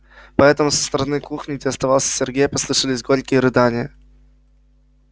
поэтому со стороны кухни где оставался сергей послышались горькие рыдания